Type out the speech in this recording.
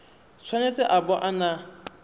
tshwanetse a bo a na